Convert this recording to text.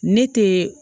Ne te